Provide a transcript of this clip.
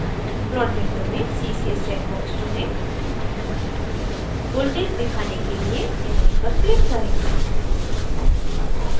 plot window में ccs check box चुनें voltage दिखाने के लिए in1 पर click करें